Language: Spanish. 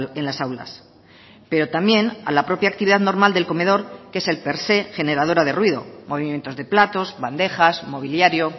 en las aulas pero también a la propia actividad normal del comedor que es el per se generadora de ruido movimientos de platos bandejas mobiliario